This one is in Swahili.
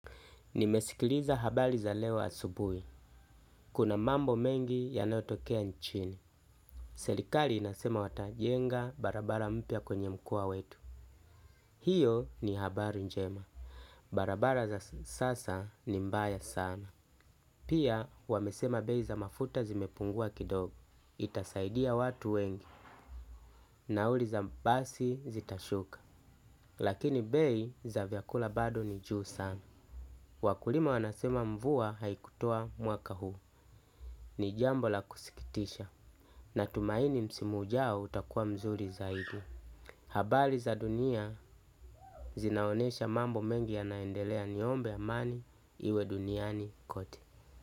Nimesikiliza habari za leo asubui. Kuna mambo mengi ya nayotokea nchini. Selikali inasema watajenga barabara mpia kwenye mkua wetu. Hiyo ni habari njema. Barabara za sasa ni mbaya sana. Pia wamesema bei za mafuta zimepungua kilo. Itasaidia watu wengi. Nauli za basi zitashuka. Lakini bei za vyakula bado ni juu sana. Wakulima wanasema mvua haikutoa mwaka huu. Ni jambo la kusikitisha. Na tumaini msimu ujao utakuwa mzuri zaidi. Habari za dunia zinaonyesha mambo mengi ya naendelea niombe amani iwe duniani kote.